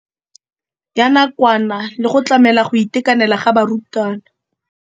Ya nakwana le go tlamela go itekanela ga barutwana.